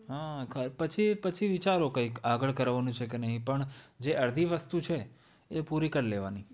હમ પછી, પછી વિચારો કંઈક આગળ કરવાનું છે કે નહીં પણ જે અડધી વસ્તુ છે એ પૂરી કર લેવાની,